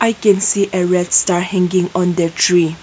we can see a red Star hanging on the tree.